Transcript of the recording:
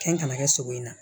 Kɛn kana kɛ sogo in na